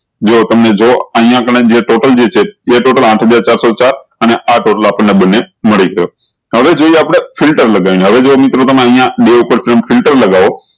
જો તમને જુવો અયીયા આગળે જે total જે છે એ total આઠ હજાર ચાર સૌ ચાર અને આ total અપન ને બન્ને મળી જાય હવે જોયીયે આપળે ફિલ્ટર લગાયી ને હવે જો મિત્રો તમે અયીયા બે ઉપર ફિલ્ટર લગાવો